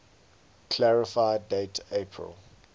clarify date april